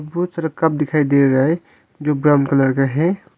बहुत सारा कप दिखाई दे रहा है जो ब्राउन कलर का है।